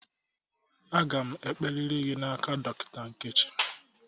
Aga m ekperiri n'aka Dọkịta Nkechi.